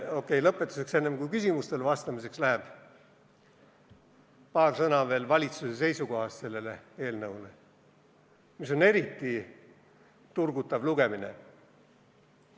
Okei, lõpetuseks, enne kui läheb küsimustele vastamiseks, paar sõna veel valitsuse seisukohast, mis nad eelnõule andsid ja mis on eriti turgutav lugemine.